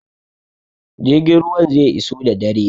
Jirgin ruwan zai iso da dare.